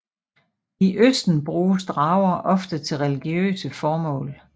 I østen bruges drager ofte til religiøse formål